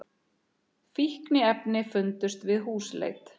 Fíkniefni fundust við húsleit